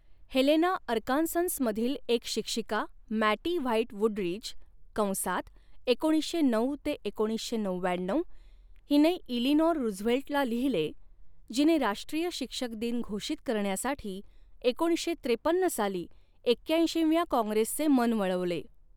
Helena, अर्कान्ससमधील एक शिक्षिका मॅटी व्हाइट वुडरीज कंसात एकोणीसशे नऊ एकोणीसशे नवव्याण्णऊ हिने इलिनाॅर रुझवेल्टला लिहिले, जिने राष्ट्रीय शिक्षक दिन घोषित करण्यासाठी एकोणीसशे त्रेपन्न साली एक्याऐंशीव्या काँग्रेसचे मन वळवले.